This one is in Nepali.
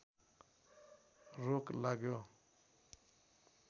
रोक लाग्यो